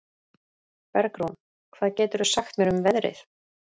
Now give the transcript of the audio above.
Bergrún, hvað geturðu sagt mér um veðrið?